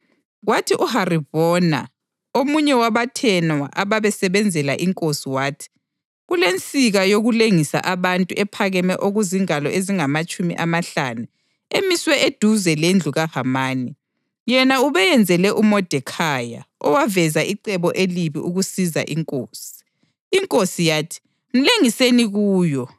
Kwathi uHaribhona, omunye wabathenwa ababesebenzela inkosi wathi, “Kulensika yokulengisa abantu ephakeme okuzingalo ezingamatshumi amahlanu emiswe eduze lendlu kaHamani. Yena ubeyenzele uModekhayi, owaveza icebo elibi ukusiza inkosi.” Inkosi yathi, “Mlengiseni kuyo!”